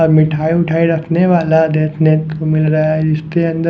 और मिठाई उठाई रखने वाला देखने को मिल रहा है जिसके अंदर --